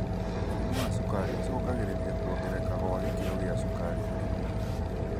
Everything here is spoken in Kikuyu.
Mũrimũ wa cukari ũcungagĩrĩra kongereka gwa gĩkĩro gia cukari harĩ mwĩrĩ.